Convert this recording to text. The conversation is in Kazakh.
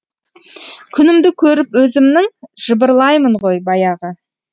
күнімді көріп өзімнің жыбырлаймын ғой баяғы